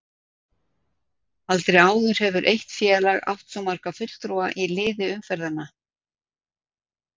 Aldrei áður hefur eitt félag átt svo marga fulltrúa í liði umferðanna.